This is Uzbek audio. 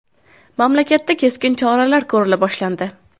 Mamlakatda keskin choralar ko‘rila boshlandi.